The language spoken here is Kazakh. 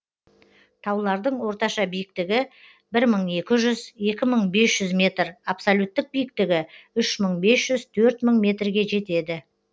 таулардың орташа биіктігі бір мың екі жүз екі мың бес жүз метр абсолюттік биіктігі үш мың бес жүз төрт мың метрге жетеді